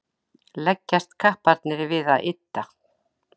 leggjast kapparnir við að ydda